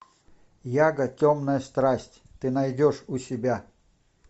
яго темная страсть ты найдешь у себя